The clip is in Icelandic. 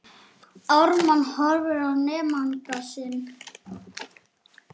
Ármann horfir á nemanda sinn.